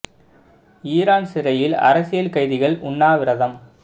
Iran சிறையில் அரசியல் கைதிகள் உண்ணாவிரதம்